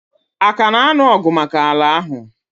Aka na anụ ọgụ maka ala ahụ?